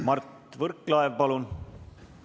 Mart Võrklaev, palun!